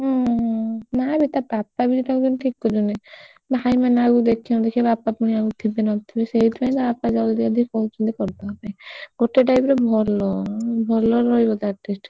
ଉଁ ହୁଁ ନାଇବେ ତା ବାପା ଯେମିତି ତାକୁ ଦେଖୁଛନ୍ତି ଭାଇମାନେ ଆଉ ଦେଖୁଛନ୍ତି କି ବାପା ଆଉ ଥିବେ କି ନଥିବେ ସେଇଥିପଇଁ ତା ବାପା ଚାହୁଛନ୍ତି କହୁଛନ୍ତି କରିଦବା ପାଇଁ ଗୋଟେ type ର ଭଲ ଉଁ ଭଲରେ ରହିବ ତ atleast ।